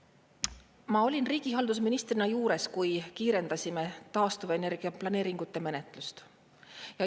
Ma olin riigihaldusministrina juures, kui kiirendasime taastuvenergia planeeringute menetlust.